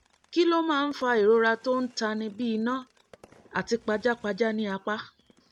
kí ló máa ń fa ìrora tó ń tani bí iná àti pajápajá ní apá?